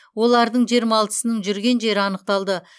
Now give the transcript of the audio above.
олардың жиырма алтысының жүрген жері анықталды